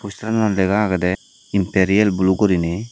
postar anot lega agede Imperial Blue gurinei.